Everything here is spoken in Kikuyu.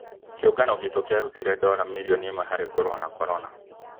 Kĩũngano gitũ kĩarutire dola mirioni ĩmwe harĩ kũrũa na korona